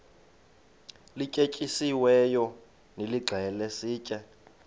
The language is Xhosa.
lityetyisiweyo nilixhele sitye